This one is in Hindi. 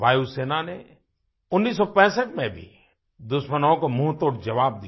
वायुसेना ने 1965 में भी दुश्मनों को मुँहतोड़ ज़वाब दिया